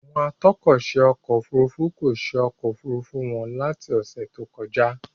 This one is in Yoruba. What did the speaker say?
Àwọn atọ́kọ̀ṣe ọkọ òfurufú kò ṣe ọkọ̀ Òfurufú wọn láti ọ́sẹ̀ tó kọjá.